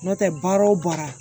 N'o tɛ baara o baara